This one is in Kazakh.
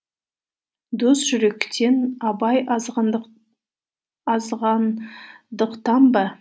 дос жүректен абай азғандықтан ба